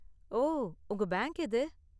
ஓ, உங்க பேங்க் எது?